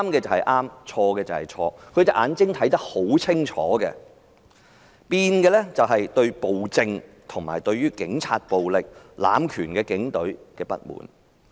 他們的眼睛是看得很清楚的，改變了的只是對暴政、警察暴力和濫權警隊的不滿。